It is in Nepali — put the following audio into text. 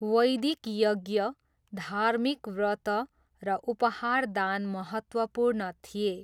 वैदिक यज्ञ, धार्मिक व्रत र उपहार दान महत्त्वपूर्ण थि्ए।